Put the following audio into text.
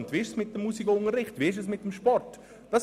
Wie sieht es mit dem Musikunterricht und dem Sport aus?